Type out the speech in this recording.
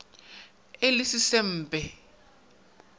ge e le se sempe